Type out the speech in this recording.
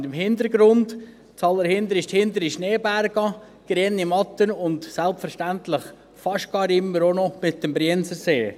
Und im Hintergrund – ganz zuhinterst – die Schneeberge, grüne Wiesen und selbstverständlich fast immer auch noch der Brienzersee.